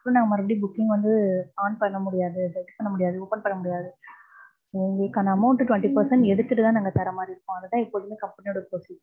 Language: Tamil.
so நாங்க மறுபடியும் booking வந்து on பண்ண முடியாது. stretch பண்ண முடியாது. open பண்ண முடியாது. எங்களுக்கான amount twenty percent எடுத்துட்டு தான் நாங்க தர மாறி இருக்கும். அதுதான் எப்போதுமே company யோட procedure.